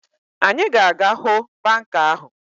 Anyị ga-aga hụ banka ahụ